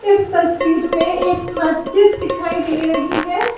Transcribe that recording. इस तस्वीर में एक मस्जिद दिखाई दे रही है।